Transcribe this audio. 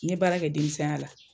N ye baara kɛ denmisɛnya la.